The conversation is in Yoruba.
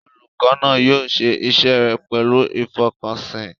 Olùkọ́ náà yóò ṣe iṣẹ́ rẹ̀ pẹ̀lú ìfọkànsìn.